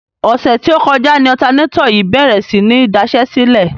Ọ̀sẹ̀ tí ó kọjá ni ọ̀tanátọ̀ yìí bèrè sí ní daṣẹ́sílẹ̀.